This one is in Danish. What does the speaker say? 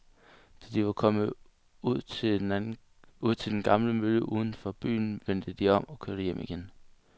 Da de var kommet ud til den gamle mølle uden for byen, vendte de om og kørte hjem igen.